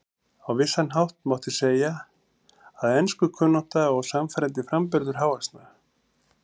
Á vissan hátt mátti segja að enskukunnátta og sannfærandi framburður hávaxna